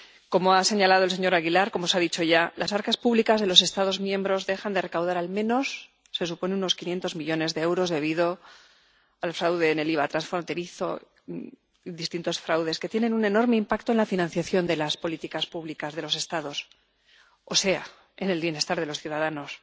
Como ha señalado el señor Aguilar —como se ha dicho ya—, se supone que las arcas públicas de los Estados miembros dejan de recaudar, al menos, unos 500 millones de euros debido al fraude en el IVA transfronterizo y a distintos fraudes que tienen un enorme impacto en la financiación de las políticas públicas de los Estados, o sea, en el bienestar de los ciudadanos.